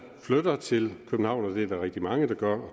flytter til københavn og det er der rigtig mange der gør